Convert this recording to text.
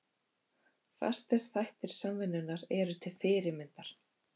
Fastir þættir Samvinnunnar eru til fyrirmyndar.